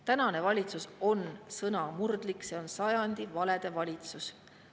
Tänane valitsus on sõnamurdlik, see on sajandi valede valitsus.